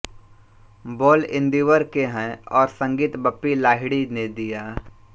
बोल इन्दीवर के हैं और संगीत बप्पी लाहिड़ी ने दिया